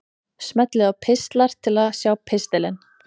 Smellið á Pistlar til að sjá pistilinn.